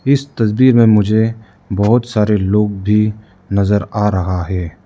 इस तस्वीर में मुझे बहोत सारे लोग भी नजर आ रहा है।